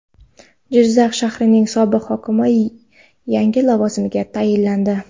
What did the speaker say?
Jizzax shahrining sobiq hokimi yangi lavozimga tayinlandi.